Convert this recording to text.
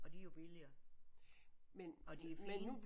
Og de er jo billigere. Og de er fine